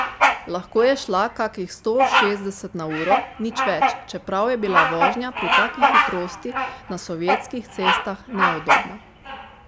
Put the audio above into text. Lahko je šla kakih sto šestdeset na uro, nič več, čeprav je bila vožnja pri taki hitrosti na sovjetskih cestah neudobna.